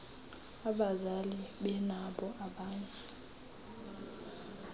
abazali benabo abanye